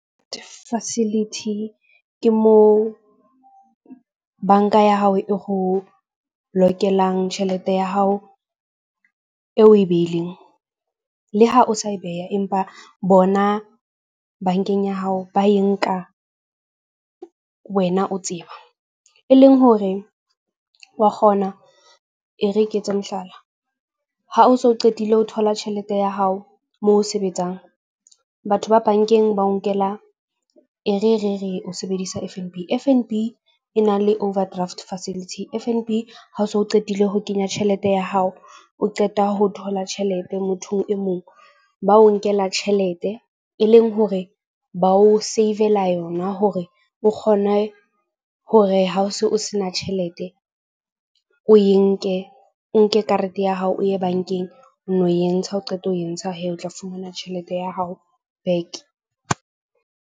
Facility ke moo bank-a ya hao e ho lokelang tjhelete ya hao e we behileng. Le ha o sa e beha empa bona bank-eng ya hao ba e nka wena o tseba. E leng hore wa kgona e re ke etse mohlala, ha o so qetile ho thola tjhelete ya hao moo sebetsang. Batho ba bank-eng ba o nkela e re re re o sebedisa F_ N_ B. F_ N_ B e na le overdraft facility, F_ N_B. Ha o so qetile ho kenya tjhelete ya hao, o qeta ho thola tjhelete mothong e mong ba o nkela tjhelete, e leng hore ba o save-la yona hore o kgone hore ha o se o se na tjhelete. O e nke o nke karete ya hao o ye bank-eng, o no entsha, ha o qeta ho e ntsha o tla fumana tjhelete ya hao back.